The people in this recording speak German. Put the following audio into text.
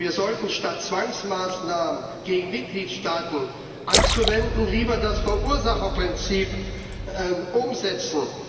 Wir sollten, statt Zwangsmaßnahmen gegen Mitgliedstaaten anzuwenden, lieber das Verursacherprinzip umsetzen.